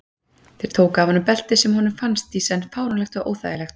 Þeir tóku af honum beltið sem honum fannst í senn fáránlegt og óþægilegt.